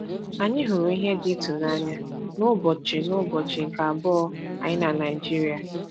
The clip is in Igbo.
Anyị hụrụ ihe dị ịtụnanya n’ụbọchị n’ụbọchị nke abụọ anyị na Naịjirịa.